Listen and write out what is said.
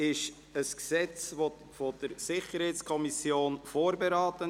Dieses Gesetz wurde von der SiK vorberaten.